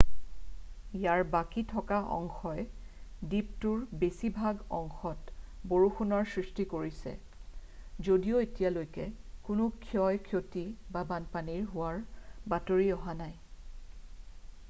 ইয়াৰ বাকী থকা অংশই দ্বীপটোৰ বেছিভাগ অংশত বৰষুণৰ সৃষ্টি কৰিছে যদিও এতিয়ালৈকে কোনো ক্ষয় ক্ষতি বা বানপানী হোৱাৰ বাতৰি অহা নাই